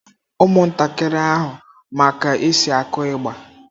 Ụmụntakịrị ahụ ma ka e si akụ ịgbà.